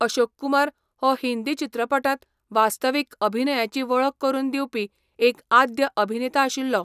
अशोक कुमार हो हिंदी चित्रपटांत वास्तवीक अभिनयाची वळख करून दिवपी एक आद्य अभिनेता आशिल्लो.